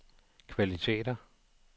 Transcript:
kvaliteter